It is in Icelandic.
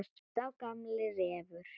Sá gamli refur.